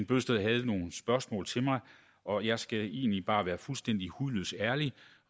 bøgsted havde nogle spørgsmål til mig og jeg skal egentlig bare være fuldstændig hudløs ærlig